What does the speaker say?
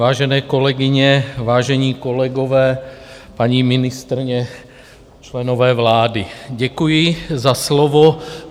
Vážené kolegyně, vážení kolegové, paní ministryně, členové vlády, děkuji za slovo.